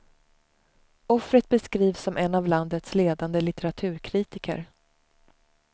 Offret beskrivs som en av landets ledande litteraturkritiker.